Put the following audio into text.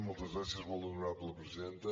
moltes gràcies molt honorable presidenta